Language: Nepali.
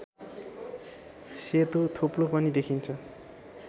सेतो थोप्लो पनि देखिन्छ